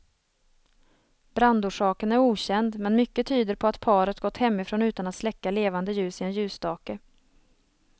Brandorsaken är okänd, men mycket tyder på att paret gått hemifrån utan att släcka levande ljus i en ljusstake.